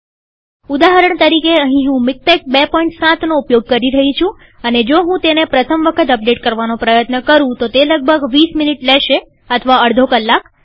ઉદાહરણ તરીકેઅહીં હું મીક્ટેક ૨૭નો ઉપયોગ કરી રહી છુંઅને જો હું તેને પ્રથમ વખત અપડેટ કરવાનો પ્રયત્ન કરું તો તે લગભગ ૨૦ મિનીટ લેશે અથવા અડધો કલાક